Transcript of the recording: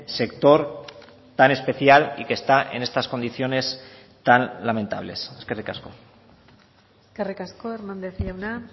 sector tan especial y que está en estas condiciones tan lamentables eskerrik asko eskerrik asko hernández jauna